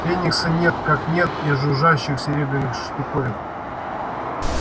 феникса нет как нет и жужжащих серебряных штуковин